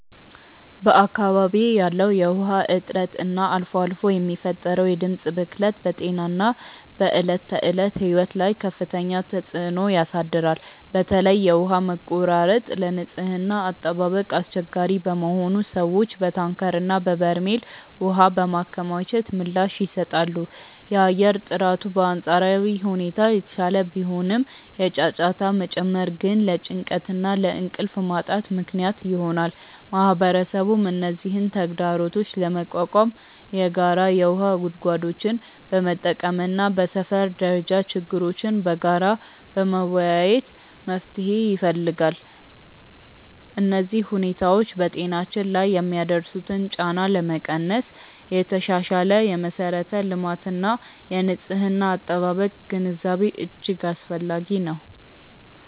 በአካባቢዬ ያለው የውሃ እጥረት እና አልፎ አልፎ የሚፈጠረው የድምፅ ብክለት በጤናና በዕለት ተዕለት ሕይወት ላይ ከፍተኛ ተጽዕኖ ያሳድራል። በተለይ የውሃ መቆራረጥ ለንጽህና አጠባበቅ አስቸጋሪ በመሆኑ ሰዎች በታንከርና በበርሜል ውሃ በማከማቸት ምላሽ ይሰጣሉ። የአየር ጥራቱ በአንጻራዊ ሁኔታ የተሻለ ቢሆንም፣ የጫጫታ መጨመር ግን ለጭንቀትና ለእንቅልፍ ማጣት ምክንያት ይሆናል። ማህበረሰቡም እነዚህን ተግዳሮቶች ለመቋቋም የጋራ የውሃ ጉድጓዶችን በመጠቀምና በሰፈር ደረጃ ችግሮችን በጋራ በመወያየት መፍትሄ ይፈልጋል። እነዚህ ሁኔታዎች በጤናችን ላይ የሚያደርሱትን ጫና ለመቀነስ የተሻሻለ የመሠረተ ልማትና የንጽህና አጠባበቅ ግንዛቤ እጅግ አስፈላጊ ነው።